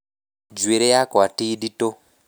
Njuĩrĩ yakwa ti ndĩtũ